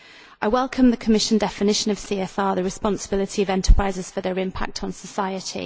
I welcome the Commission definition of CSR the responsibility of enterprises for their impact on society.